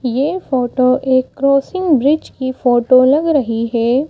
ये फोटो एक crossing bridge की फोटो लग रही है।